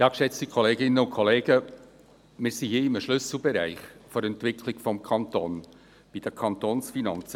Wir befinden uns hier in einem Schlüsselbereich der Entwicklung des Kantons, nämlich bei den Kantonsfinanzen.